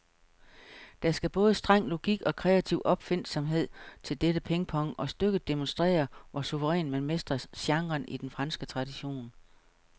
Der skal både streng logik og kreativ opfindsomhed til dette pingpong, og stykket demonstrerer, hvor suverænt man mestrer genren i den franske tradition.